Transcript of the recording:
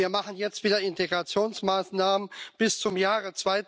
Und wir machen jetzt wieder Integrationsmaßnahmen bis zum Jahre